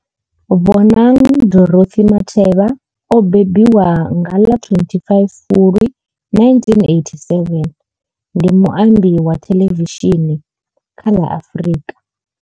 Bonang Dorothy Matheba o mbembiwa nga ḽa 25 Fulwi 1987, ndi muambi wa thelevishini kha ḽa Afrika.